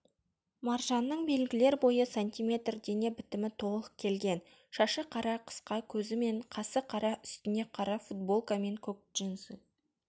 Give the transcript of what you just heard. маржанның белгілер бойы сантиметр дене бітімі толық келген шашы қара қысқа көзі мен қасы қара үстіне қара футболка мен көк джинсы